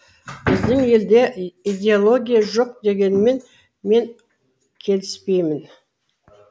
біздің елде идеология жоқ дегенмен мен келіспеймін